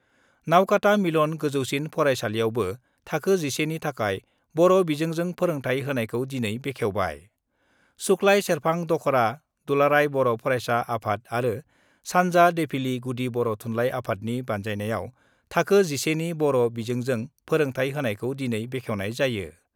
नावकाता मिलन गोजौसिन फराइसालियावबो थाखो 11 नि थाखाय बर' बिजोंजों फोरोंथाइ होनायखौ दिनै बेखेवबाय सुक्लाय सेरफां दख'रा दुलाराय बर ' फारायसा आफाद आरो सान्जा देफिलि गुदि बर' थुनलाइ आफादनि बान्जायनायाव थाखो 11 नि बर' बिजोंजों फोरोंथाइ होनायखौ दिनै बेखेवनाय जायो।